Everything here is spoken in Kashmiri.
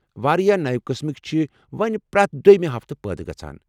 واریاہ نوِ قٕسم چھِ وو٘نۍ پرٛٮ۪تھ دۄیمہِ ہفتہٕ پٲدٕ گژھان۔